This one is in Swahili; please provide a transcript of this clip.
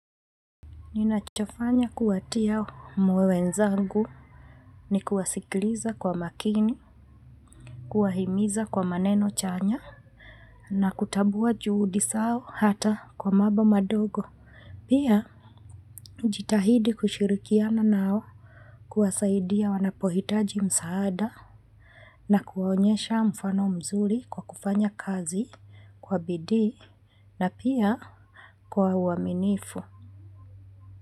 Ninachofanya kuwatia moyo wenzangu ni kuwasikliza kwa makini, kuwahimiza kwa maneno chanya na kutambua juhudi zao hata kwa mambo madogo. Pia, jitahidi kushirikiana nao kuwasaidia wanapohitaji msaada na kuwaonyesha mfano mzuri kwa kufanya kazi kwa bidii na pia kwa uaminifu.